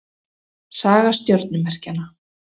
Saga stjörnumerkjanna.